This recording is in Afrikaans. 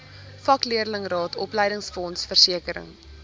vakleerlingraad opleidingsfonds versekering